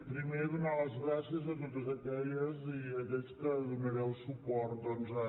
primer donar les gràcies a totes aquelles i aquells que donareu suport doncs a